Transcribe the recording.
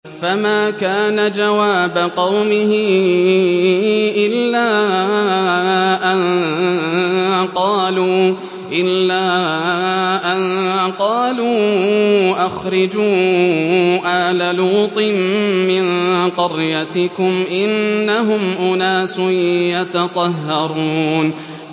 ۞ فَمَا كَانَ جَوَابَ قَوْمِهِ إِلَّا أَن قَالُوا أَخْرِجُوا آلَ لُوطٍ مِّن قَرْيَتِكُمْ ۖ إِنَّهُمْ أُنَاسٌ يَتَطَهَّرُونَ